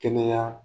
Kɛnɛya